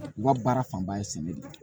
U ka baara fanba ye sɛnɛ de ye